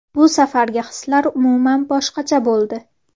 Bu safargi hislar umuman boshqacha bo‘ldi.